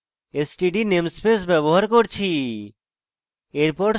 std namespace ব্যবহার করেছি